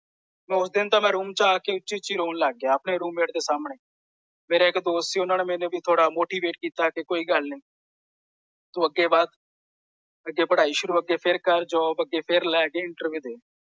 ਮੈਂ ਉਸ ਦਿਨ ਤਾਂ ਮੈਂ ਰੂਮ ਵਿਚ ਆ ਕੇ ਉੱਚੀ ਉੱਚੀ ਰੌਣ ਲੱਗ ਗਿਆ ਆਪਣੇ ਰੂਮ ਮੇਟ ਦੇ ਸਾਹਮਣੇ। ਮੇਰਾ ਇਕ ਦੋਸਤ ਸੀ ਓਹਨਾ ਨੇ ਮੈਨੂੰ ਥੋੜਾ ਮੋਟੀਵੇਟ ਕੀਤਾ ਕਿ ਕੋਈ ਗੱਲ ਨਹੀਂ। ਤੂੰ ਅੱਗੇ ਵੱਧ। ਅੱਗੇ ਪੜਾਈ ਸ਼ੁਰੂ ਅੱਗੇ ਫੇਰ ਕਰ ਜੌਬ ਅੱਗੇ ਫੇਰ ਲੈ ਕੇ ਇੰਟਰਵਿਊ ਦੇ।